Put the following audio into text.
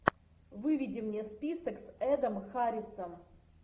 выведи мне список с эдом харрисом